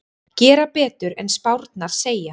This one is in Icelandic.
Gera betur en spárnar segja